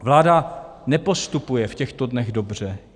Vláda nepostupuje v těchto dnech dobře.